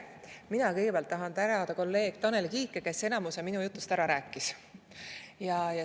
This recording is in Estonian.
Mina tahan kõigepealt tänada kolleeg Tanel Kiike, kes enamiku minu jutust ära rääkis.